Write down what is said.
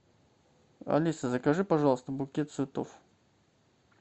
алиса закажи пожалуйста букет цветов